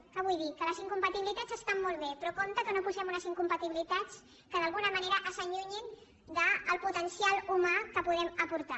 què vull dir que les incompatibilitats estan molt bé però compte que no posem unes incompatibilitats que d’alguna manera ens allunyin del potencial humà que podem aportar